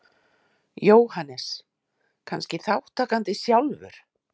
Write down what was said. Jóhannes: Kannski þátttakandi sjálfur?